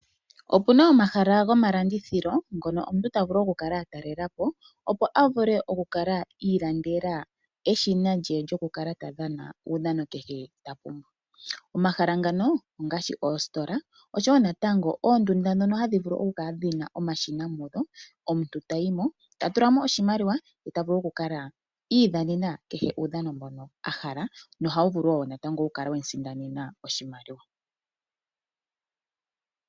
Opuna omahala go malandithilo ngono omuntu ta vulu oku kala a talelapo opo a vule okwiilandela eshina lye lyoku kala ta dhana uudhano kehe ta pumbwa. Omahala ngano ongaashi oositola osho wonatango oondunda dhi hadhi vulu oku kala dhina omashina mudho, omuntu ta yimo ta tulamo oshimaliwa yeta vulu oku kala iidhanena uudhano kehe mbono a hala no hawu vulu wo natango oku kala wemu sindanena oshimaliwa.